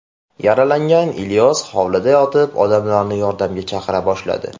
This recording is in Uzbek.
Yaralangan Ilyos hovlida yotib, odamlarni yordamga chaqira boshladi.